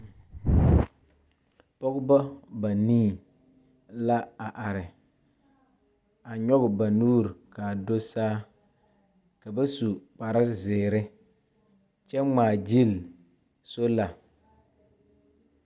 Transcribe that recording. Pɔgeba banii la a are. A nyɔge ba nuuri ka do saa ka ba su kpare zeere kyɛ ŋmaa gyili sola.